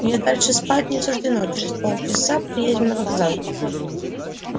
мне дальше спать не суждено через полчаса приедем на вокзал